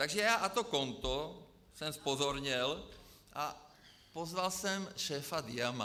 Takže já na to konto jsem zpozorněl a pozval jsem šéfa Diama.